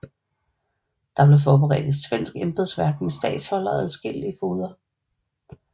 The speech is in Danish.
Der blev forberedt et svensk embedsværk med statholder og adskillige fogeder